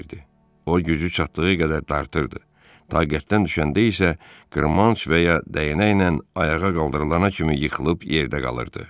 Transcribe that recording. O gücü çatdığı qədər dartırdı, taqətdən düşəndə isə qırmanc və ya dəyənəklə ayağa qaldırılana kimi yıxılıb yerdə qalırdı.